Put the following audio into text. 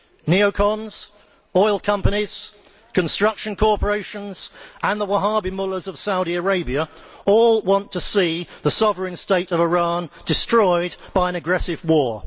Neocons, oil companies, construction corporations and the Wahabi mullahs of Saudi Arabia all want to see the sovereign state of Iran destroyed by an aggressive war.